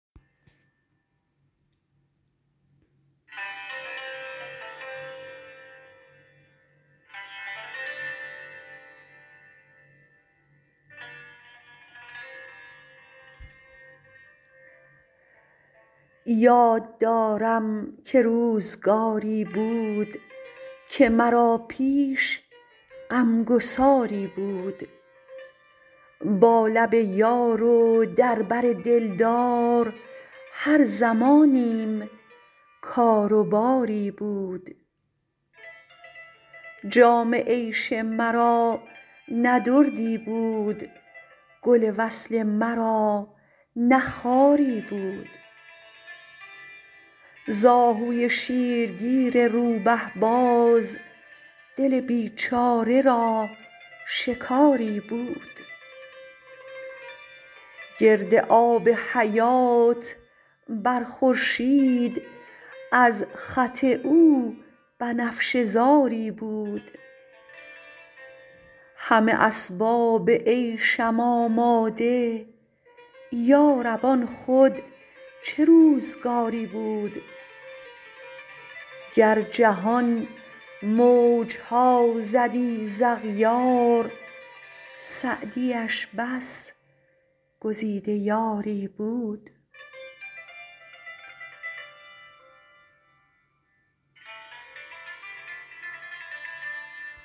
یاد دارم که روزگاری بود که مرا پیش غمگساری بود با لب یار و در بر دلدار هر زمانیم کار و باری بود جام عیش مرا نه دردی بود گل وصل مرا نه خاری بود ز اهوی شیرگیر روبه باز دل بیچاره را شکاری بود گرد آب حیات بر خورشید از خط او بنفشه زاری بود همه اسباب عیشم آماده یارب آن خود چه روزگاری بود گر جهان موجها زدی ز اغیار سعدیش بس گزیده یاری بود